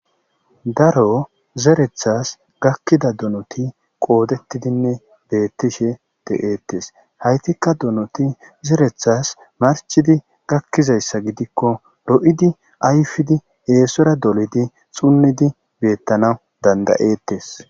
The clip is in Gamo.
Daro zerethas gakkida donoti qoodettidinne beettishe de'eettes haytikka donoti zerethas marchidi gakkizayssa gidikko lo'idi ayfidi eesora dolidi xunnidi beettana dandayeettes.